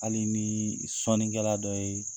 Hali n'i ye sɔnikɛla dɔ ye